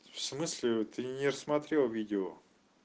в смысле ты не рассмотрел видео